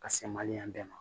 Ka se maliyɛn bɛɛ ma